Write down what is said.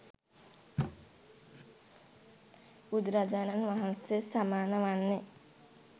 බුදුරජාණන් වහන්සේට සමාන වන්නේ